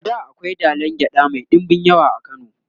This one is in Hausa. a da akwai dalan gyaɗa Mai ɗinbin yawa a kano